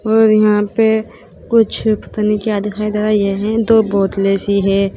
और यहां पे कुछ पता नहीं क्या दिखाई दे रही है यहें दो बोतले सी है।